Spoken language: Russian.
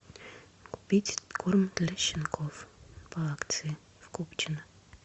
купить корм для щенков по акции в купчино